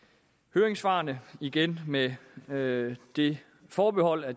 høringssvarene igen med med det forbehold at